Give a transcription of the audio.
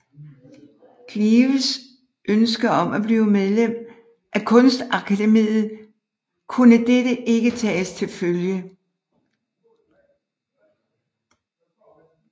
Kleves ønske om at blive medlem af Kunstakademiet kunne dette ikke tages til følge